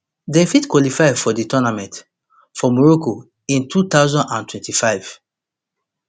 dem fit qualify for di tournament for morocco in two thousand and twenty-five